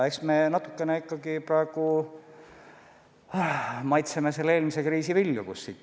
Eks me natukene praegu maitseme eelmise kriisi vilju.